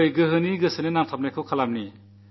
വരൂ ശക്തിയെ ഉപാസിക്കാം